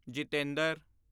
Jitendra